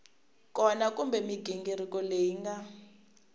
kona kumbe mighingiriko leyi nga